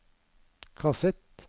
kassett